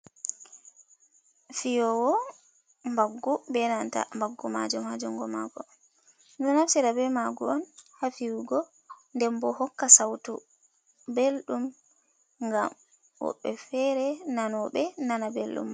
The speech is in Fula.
Fiyowo baggu, be nanta baggu majum hajungo mako. Ɗo nafstira be mago on hafiyugo, nden bo hokka sautu beldum gam woɓbe fere nanoɓe nana belɗum.